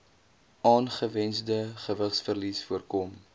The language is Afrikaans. ongewensde gewigsverlies voorkom